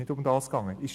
Darum geht es nicht.